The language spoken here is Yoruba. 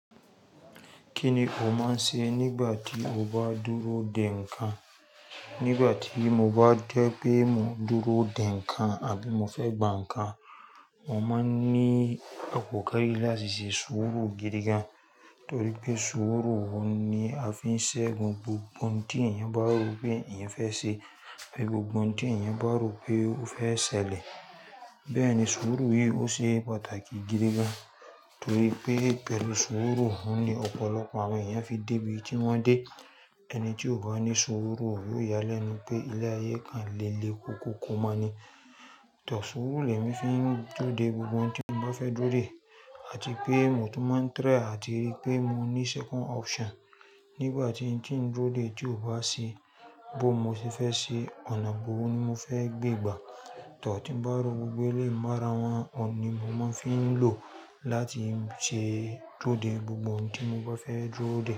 Kí ni o máa ń ṣe nígbà tí o bá dúró dè ńǹkan? Nígbà tí mo bá jepé mo dúró dè ńǹkan àbí mo fẹ́ gbà ńǹkan, mo máa ń ní àkókò láti ṣe sùúrù gidi gan, torí pé sùúrù ni a fi ń ṣẹ́gun gbogbo ohun tí èèyàn bá rò pé èèyàn fẹ́ ṣe. Ohun gbogbo tí èèyàn bá rò pé ó fẹ́ ṣẹlẹ̀, bẹ́ẹ̀ ni sùúrù yìí ó ṣe pàtàkì gidi gan, torí pé pẹ̀lú sùúrù ni ọ̀pọ̀lọpọ̀ àwọn èèyàn fi dé ibi tí wón dé. Ẹni tí kò bá ní sùúrù yóò yáa lẹ́ nu pé ilé ayé kan nléle kòkò kó mo ní. Too sùúrù le mi fi ń durode gbogbo ohun tí mo bá fẹ́ dúró dè àti pé mo tún máa ń try àti rí pé mo ní second option. Nígbà tí n tí ń duro de tí ò bá ṣe bó o mo ṣe fẹ́ ṣe, ọ̀nà ibo ni mo fẹ́ gbè gbà. Tí mo bá rò gbogbo eleyi mo ara wọn ni mo máa ń fi ń lò láti ṣe duro de gbogbo ohun tí mo bá fẹ́ duro de.